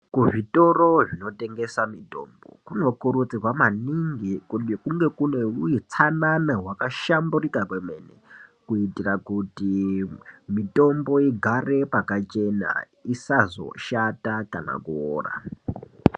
Kuzvitoro zvinotengesa mitombo kunokurudzirwa maningi kuti kunge kune utsanana hwakahlamburika kwemene kuitira kuti mitombo igare pakachena isazoshata kana kuora.